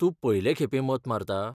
तूं पयलें खेपे मत मारता?